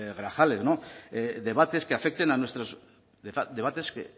grajales debates que afecten a nuestras debates que